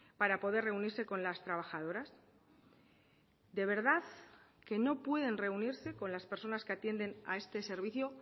para poder reunirse con las trabajadoras de verdad que no pueden reunirse con las personas que atienden a este servicio